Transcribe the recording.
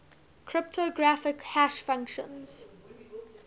cryptographic hash functions